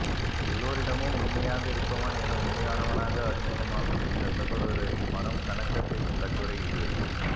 எல்லோரிடமும் உண்மையாக இருப்பவன் என உண்மையானவனாக அறிமுகமாகும் இந்த சகோதரரின் மனம் கனக்கச் செய்யும் கட்டுரை இது